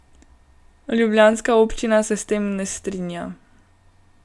Ljubljanska občina se s tem ne strinja.